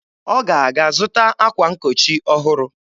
Ọ ga-aga zụta akwa nkochi ọhụrụ.